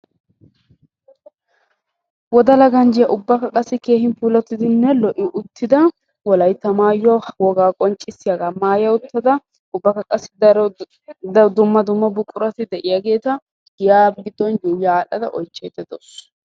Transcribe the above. Wodalla ganjjiya puula wolaytta maayuwa maayadda giya giddon ya ha adhdhadda oychchaydde de'awussu.